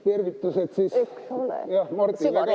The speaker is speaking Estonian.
Tervitused siis Mardile ka!